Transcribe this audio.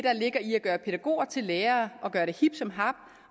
at gøre pædagoger til lærere og gøre det hip som hap